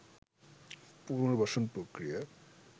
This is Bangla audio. পুনর্বাসন প্রক্রিয়া